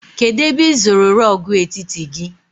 Kedụ ebe ị zụrụ rọọgụ etiti gị?